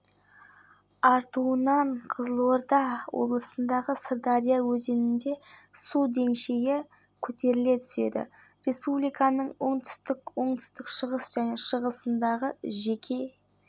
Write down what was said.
қызметінің операторына телефонмен майлин көшесінде ер адамның мәйіті табылғаны туралы хабарлама түскен оның сол жақ иығы